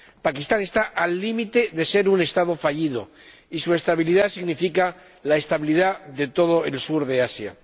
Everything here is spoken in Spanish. Pakistán está al límite de ser un Estado fallido y su estabilidad significa la estabilidad de todo el sur de Asia.